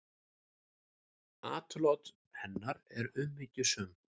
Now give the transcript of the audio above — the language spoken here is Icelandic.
Atlot hennar eru umhyggjusöm.